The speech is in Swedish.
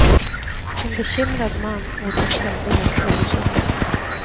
En bekymrad man mot en tämligen obekymrad.